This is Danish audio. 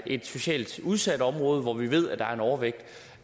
et socialt udsat område hvor vi ved der er en overvægt